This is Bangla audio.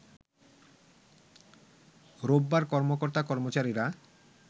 রোববার কর্মকর্তা কর্মচারীরা